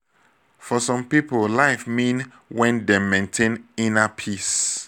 for some pipo life mean when dem maintain inner peace